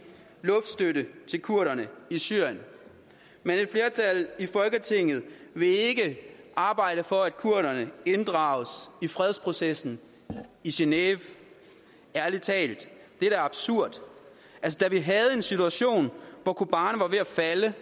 luftstøtte til kurderne i syrien men et flertal i folketinget vil ikke arbejde for at kurderne inddrages i fredsprocessen i genève ærlig talt det er da absurd da vi havde en situation hvor kobane var ved at falde